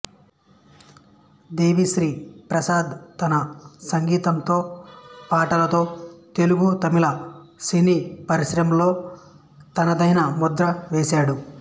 దేవిశ్రీ ప్రసాద్ తన సంగీతంతో పాటలతో తెలుగు తమిళ సినీపరిశ్రమలో తనదైన ముద్ర వేశాడు